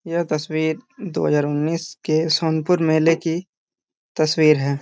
यह तस्वीर दो हजार उनिस के सोनपुरमेले की तस्वीर है।